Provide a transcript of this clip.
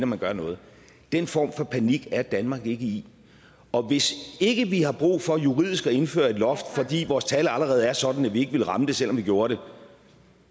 man gør noget den form for panik er danmark ikke i og hvis ikke vi har brug for juridisk at indføre et loft fordi vores tal allerede er sådan at vi ikke ville ramme det selv om vi gjorde det